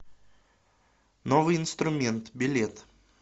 новый инструмент билет